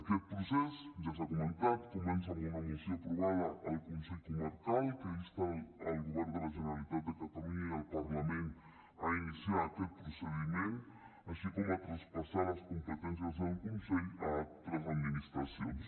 aquest procés ja s’ha comentat comença amb una moció aprovada al consell comarcal que insta el govern de la generalitat de catalunya i el parlament a iniciar aquest procediment així com a traspassar les competències del consell a altres administracions